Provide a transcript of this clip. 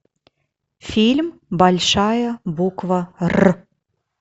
фильм большая буква р